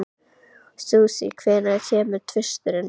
Susie, hvenær kemur tvisturinn?